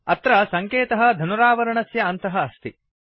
अत्र सङ्केतः धनुरावरणस्य अन्तः अस्ति